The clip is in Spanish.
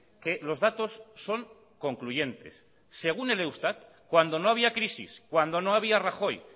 que los datos son concluyentes según el eustat cuando no había crisis cuando no había rajoy